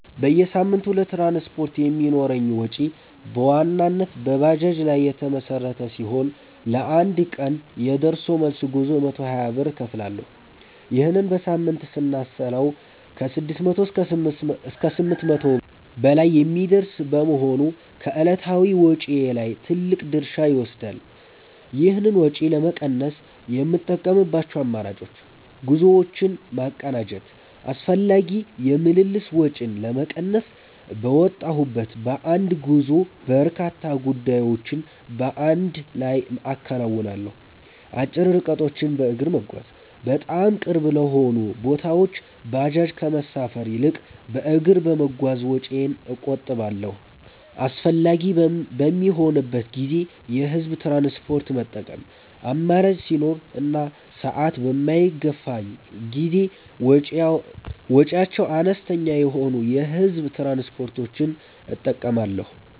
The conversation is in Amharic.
በየሳምንቱ ለትራንስፖርት የሚኖረኝ ወጪ በዋናነት በባጃጅ ላይ የተመሠረተ ሲሆን፣ ለአንድ ቀን የደርሶ መልስ ጉዞ 120 ብር እከፍላለሁ። ይህንን በሳምንት ስናሰላው ከ600 እስከ 800 ብር በላይ የሚደርስ በመሆኑ ከዕለታዊ ወጪዬ ላይ ትልቅ ድርሻ ይወስዳል። ይህን ወጪ ለመቀነስ የምጠቀምባቸው አማራጮች፦ ጉዞዎችን ማቀናጀት፦ አላስፈላጊ የምልልስ ወጪን ለመቀነስ፣ በወጣሁበት በአንድ ጉዞ በርካታ ጉዳዮችን በአንድ ላይ አከናውናለሁ። አጭር ርቀቶችን በእግር መጓዝ፦ በጣም ቅርብ ለሆኑ ቦታዎች ባጃጅ ከመሳፈር ይልቅ በእግር በመጓዝ ወጪዬን እቆጥባለሁ። አስፈላጊ በሚሆንበት ጊዜ የህዝብ ትራንስፖርት መጠቀም፦ አማራጭ ሲኖር እና ሰዓት በማይገፋኝ ጊዜ ወጪያቸው አነስተኛ የሆኑ የህዝብ ትራንስፖርቶችን እጠቀማለሁ።